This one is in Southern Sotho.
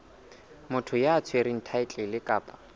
motho ya tshwereng thaetlele kapa